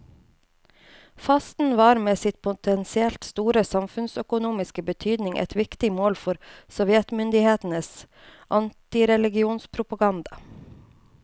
Fasten var med sin potensielt store samfunnsøkonomiske betydning et viktig mål for sovjetmyndighetenes antireligionspropaganda.